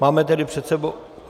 Máme tedy před sebou...